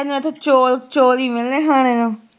ਤੈਨੂੰ ਇਥੋਂ ਚੋਲ ਚੋਲ ਈ ਮਿਲਣੇ ਖਾਣੇ ਨੂੰ